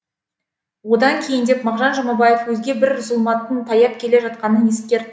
одан кейіндеп мағжан жұмабаев өзге бір зұлматтың таяп келе жатқанын ескертті